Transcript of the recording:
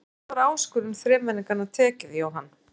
Hvernig var áskorun þremenningana tekið, Jóhann?